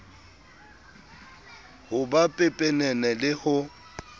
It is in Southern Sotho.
ho ba pepenene le ho